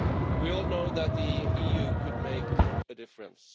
We all know that the EU could make a difference.